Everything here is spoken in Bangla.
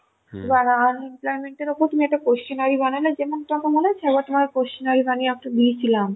এবার unemployment এর উপর তুমি একটা questionary বানালে যেমন তোমার মনে আছে তোমায় একটা দিয়েছিলাম,